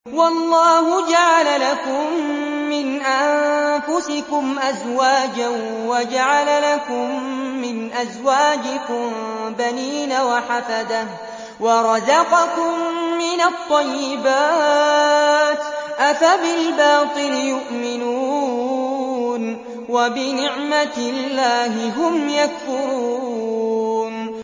وَاللَّهُ جَعَلَ لَكُم مِّنْ أَنفُسِكُمْ أَزْوَاجًا وَجَعَلَ لَكُم مِّنْ أَزْوَاجِكُم بَنِينَ وَحَفَدَةً وَرَزَقَكُم مِّنَ الطَّيِّبَاتِ ۚ أَفَبِالْبَاطِلِ يُؤْمِنُونَ وَبِنِعْمَتِ اللَّهِ هُمْ يَكْفُرُونَ